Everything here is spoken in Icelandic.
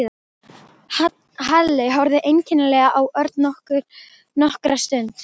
Halli horfði einkennilega á Örn nokkra stund.